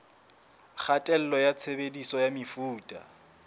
kgatello ya tshebediso ya mefuta